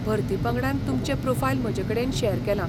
भरती पंगडान तुमचें प्रोफायल म्हजेकडेन शेअर केलां.